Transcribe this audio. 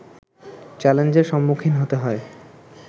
চ্যালেঞ্জের সম্মুখীন হতে হয়